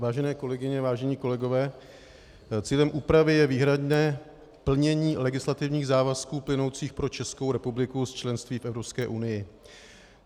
Vážené kolegyně, vážení kolegové, cílem úpravy je výhradně plnění legislativních závazků plynoucích pro Českou republiku z členství v Evropské unie.